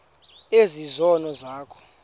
ezi zono zakho